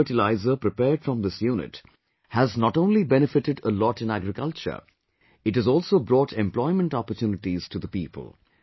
The biofertilizer prepared from this unit has not only benefited a lot in agriculture ; it has also brought employment opportunities to the people